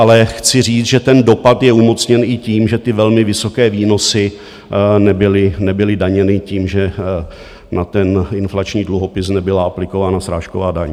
Ale chci říct, že ten dopad je umocněn i tím, že ty velmi vysoké výnosy nebyly daněny tím, že na ten inflační dluhopis nebyla aplikována srážková daň.